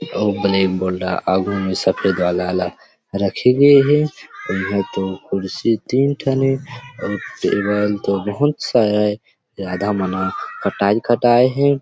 अउ black board आघू मे सफ़ेद वाला ल रखे गे हे यह तो खुर्शी तीन ठन हे अऊ ए मन तो बहुत सारा हे आधा मन ह कटाये कटाये हे।